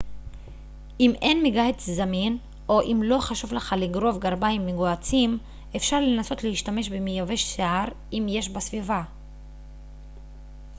אם אין מגהץ זמין או אם לא חשוב לך לגרוב גרביים מגוהצים אפשר לנסות להשתמש במייבש שיער אם יש בסביבה